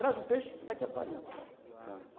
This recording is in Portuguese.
Traz o peixe, está aqui a farinha, tá.